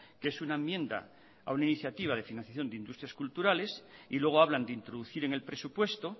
que es una enmienda a una iniciativa de financiación de industrias culturales y luego hablan de introducir en el presupuesto